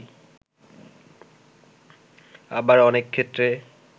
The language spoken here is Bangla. আবার অনেক ক্ষেত্রে